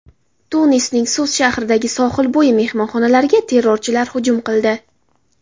Tunisning Sus shahridagi sohilbo‘yi mehmonxonalariga terrorchilar hujum qildi.